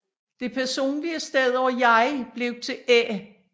Det personlige stedord jeg blev til æ